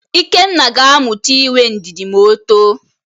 Ikenna ga-amụta inwe ndidi ma o too.